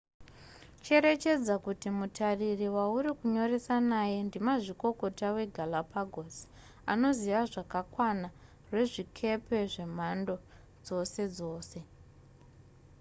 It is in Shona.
cherechedza kuti mutariri wauri kunyoresa naye ndimazvikokota wegalapagos anoziva zvakakwana rwezvikepe zvemhando dzose dzose